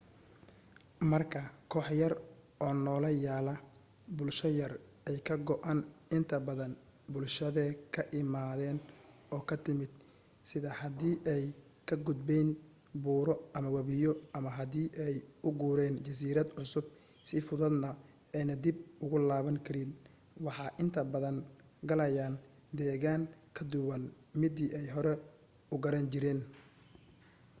marka koox yar oo noola yaala bulsho yar ay ka go'aan inta badan bulshadee ka imaden oo ka timid sida hadii ay ka gudbeyn buuro ama wabiyo ama hadii ay u guureyn jasiirad cusub si fududna ayna dib ugu laaban karin waxa inta badan galayaan deegan ka duwan midii ay hore u garan jireen